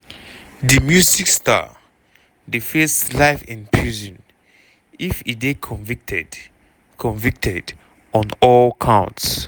di music star dey face life in prison if e dey convicted convicted on all counts.